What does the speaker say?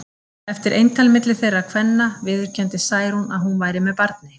Eftir eintal milli þeirra kvenna viðurkenndi Særún að hún væri með barni.